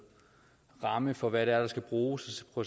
ramme for hvad det er der skal bruges og